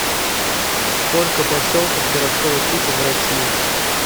сколько поселков городского типа в россии